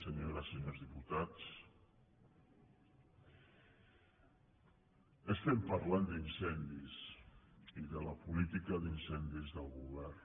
senyores i senyors diputats estem parlant d’incendis i de la política d’incendis del govern